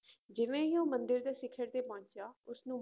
ਜਿਵੇਂ ਹੀ ਉਹ ਮੰਦਿਰ ਦੇ ਸਿੱਖ਼ਰ ਤੇ ਪਹੁੰਚਿਆ ਉਸਨੂੰ